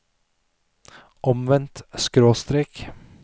omvendt skråstrek